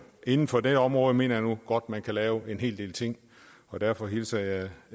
inden for det område mener jeg nu godt man kan lave en hel del ting og derfor hilser jeg